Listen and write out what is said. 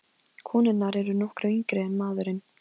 Konurnar eru nokkru yngri en maðurinn.